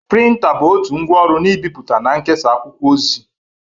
Printa bụ otu ngwa ọrụ n' ibipụta na nkesa akwụkwọ ozi.